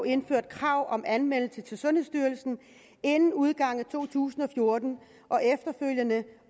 indført et krav om anmeldelse til sundhedsstyrelsen inden udgangen af to tusind og fjorten